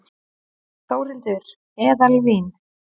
Þórhildur: Eðalvín?